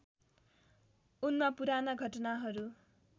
उनमा पुराना घटनाहरू